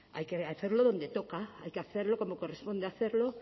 hay que hacerlo donde toca hay que hacerlo como corresponde hacerlo